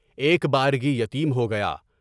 ایک بارگی یتیم ہو گیا۔